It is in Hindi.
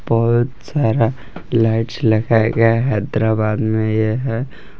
बहोत सारा लाइट्स लगाया गया है हैदराबाद में ये है।